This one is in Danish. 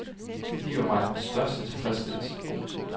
Det giver mig den største tilfredsstillelse.